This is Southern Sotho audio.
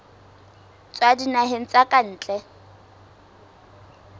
tswa dinaheng tsa ka ntle